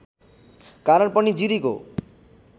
कारण पनि जिरीको